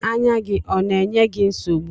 Anya gị ọ na-enye gị nsogbu?